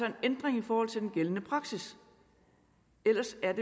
en ændring i forhold til den gældende praksis ellers er